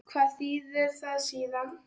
Hvað þýðir það síðan?